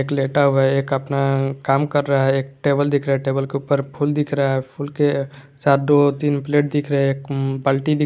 एक लेटा हुआ है एक अपना काम कर रहा है एक टेबल दिख रहा है टेबल के ऊपर फूल दिख रहा है फुल के साथ दो तीन प्लेट दिख रहे हैं एक बाल्टी दिख--